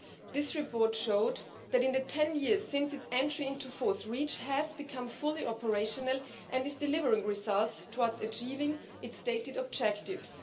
This report showed that, in the 10 years since its entry into force, REACH has become fully operational and is delivering results towards achieving its stated objectives.